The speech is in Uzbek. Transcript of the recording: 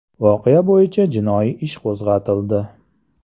Voqea bo‘yicha jinoiy ish qo‘zg‘atildi.